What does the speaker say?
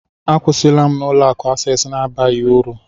Akwụsịla m na Ụlọ akụ Access na-abaghị uru